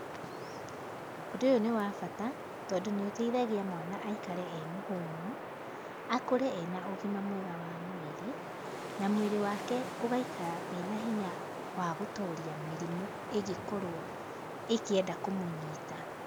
Ũndũ ũyũ nĩ wa bata, tondũ nĩ ũteithagia mwana aikare e mũhũnu, akũre e na ũgima mwega wa mwĩrĩ, na mwĩrĩ wake ũgaikara wĩ na hinya wa gũtoria mĩrimũ ĩngĩkorũo ĩkĩenda kũmũnyita.